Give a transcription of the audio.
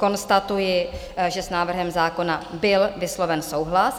Konstatuji, že s návrhem zákona byl vysloven souhlas.